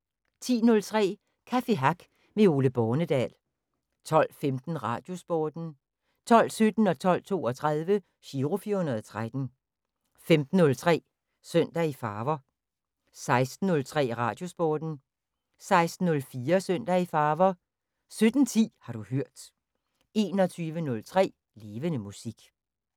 10:03: Café Hack med Ole Bornedal 12:15: Radiosporten 12:17: Giro 413 12:32: Giro 413 15:03: Søndag i Farver 16:03: Radiosporten 16:04: Søndag i Farver 17:10: Har du hørt 21:03: Levende Musik